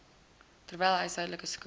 terwyl huishoudelike skuld